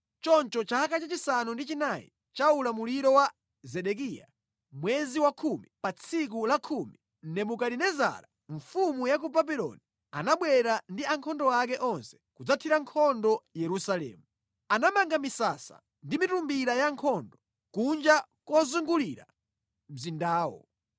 Choncho mʼchaka cha chisanu ndi chinayi cha ulamuliro wa Zedekiya, mwezi wakhumi, pa tsiku la khumi, Nebukadinezara mfumu ya ku Babuloni anabwera ndi ankhondo ake onse kudzathira nkhondo Yerusalemu. Anamanga misasa ndi mitumbira yankhondo kunja kuzungulira mzindawo.